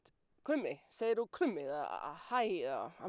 krummi segðu krummi eða hæ eða hann